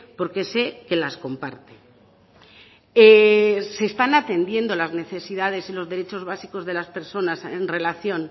porque sé que las comparte se están atendiendo las necesidades y los derechos básicos de las personas en relación